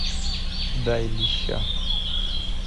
дай леща